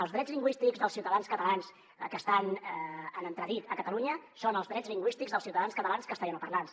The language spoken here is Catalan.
els drets lingüístics dels ciutadans catalans que estan en entredit a catalunya són els drets lingüístics dels ciutadans catalans castellanoparlants